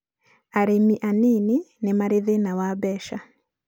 arĩmi anĩnĩ nĩ Marĩ thĩna wa mbeca.